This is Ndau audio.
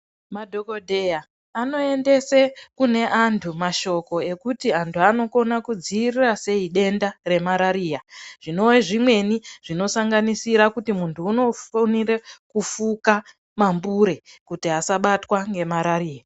Madhomodheya anoendese kune antu mashoko ekuti antu anokona kudziirira sei denda remarariya zvinove zvimweni zvinosanganisira kuti muntu unofonire kufuka mabure kuti asabtwa ngemarariya.